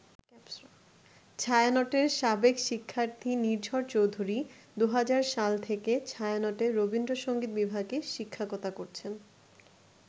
ছায়ানটের সাবেক শিক্ষার্থী নির্ঝর চৌধুরী ২০০০ সাল থেকে ছায়ানটে রবীন্দ্রসংগীত বিভাগে শিক্ষকতা করছেন।